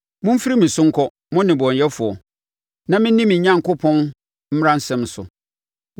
Momfiri me so nkɔ, mo nnebɔneyɛfoɔ, na menni me Onyankopɔn mmaransɛm so!